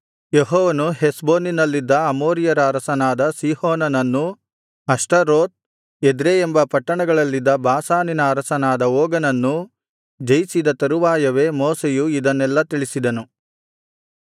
ಯೆಹೋವನು ಹೆಷ್ಬೋನಿನಲ್ಲಿದ್ದ ಅಮೋರಿಯರ ಅರಸನಾದ ಸೀಹೋನನನ್ನೂ ಅಷ್ಟಾರೋತ್ ಎದ್ರೈ ಎಂಬ ಪಟ್ಟಣಗಳಲ್ಲಿದ್ದ ಬಾಷಾನಿನ ಅರಸನಾದ ಓಗನನ್ನೂ ಜಯಿಸಿದ ತರುವಾಯವೇ ಮೋಶೆಯು ಇದನ್ನೆಲ್ಲಾ ತಿಳಿಸಿದನು